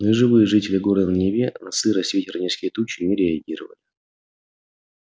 но и живые жители города на неве на сырость ветер и низкие тучи не реагировали